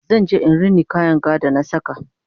zan je in Rina kayan ga da na saka